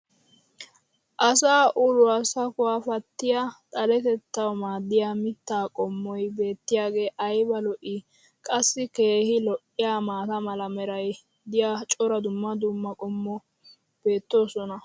asaa uluwa sakkuwa patiya xaletettawu maadiya mitaa qommoy beetiyaagee ayba lo'ii? qassi keehi lo'iyaa maata mala meray diyo cora dumma dumma qommobati beetoosona.